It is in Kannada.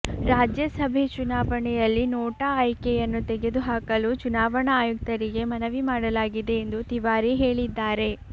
ರಾಜ್ಯಸಭೆ ಚುನಾವಣೆಯಲ್ಲಿ ನೋಟಾ ಆಯ್ಕೆಯನ್ನು ತೆಗೆದು ಹಾಕಲು ಚುನಾವಣಾ ಆಯುಕ್ತರಿಗೆ ಮನವಿ ಮಾಡಲಾಗಿದೆ ಎಂದು ತಿವಾರಿ ಹೇಳಿದ್ದಾರೆ